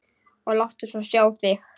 Og láttu svo sjá þig.